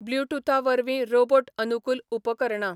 blue टुथा वरवीं robot अनुकूल उपकरणां